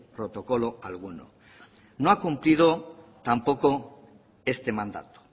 protocolo alguno no ha cumplido tampoco este mandato